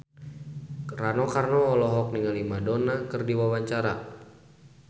Rano Karno olohok ningali Madonna keur diwawancara